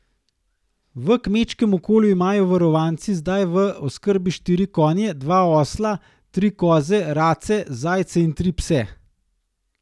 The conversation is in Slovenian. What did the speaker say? V kmečkem okolju imajo varovanci zdaj v oskrbi štiri konje, dva osla, tri koze, race, zajce in tri pse.